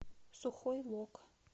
сухой лог